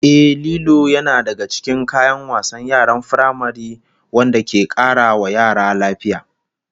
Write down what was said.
Ehh, Lilo yana daga cikin kayan wasan yaran firamare wanda ke kara wa yara lafiya